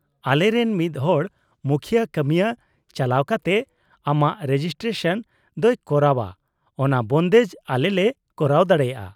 -ᱟᱞᱮᱨᱮᱱ ᱢᱤᱫ ᱦᱚᱲ ᱢᱩᱠᱷᱭᱟᱹ ᱠᱟᱹᱢᱤᱭᱟᱹ ᱪᱟᱞᱟᱣ ᱠᱟᱛᱮᱫ ᱟᱢᱟᱜ ᱨᱮᱡᱤᱥᱴᱨᱮᱥᱚᱱ ᱫᱚᱭ ᱠᱚᱨᱟᱣᱟ ᱚᱱᱟ ᱵᱚᱱᱫᱮᱡ ᱟᱞᱮ ᱞᱮ ᱠᱚᱨᱟᱣ ᱫᱟᱲᱮᱭᱟᱜᱼᱟ ᱾